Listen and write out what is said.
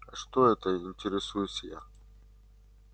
а что это интересуюсь я